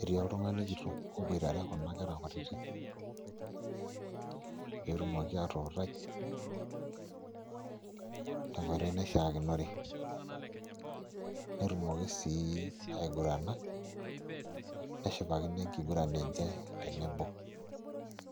etii oltung'ani kitok oboitare Kuna kerra kutitik pee etumoki atuutai tenkoitoi naishiakinore netumoki sii aigurana neshipakino enkiguran enye tenebo.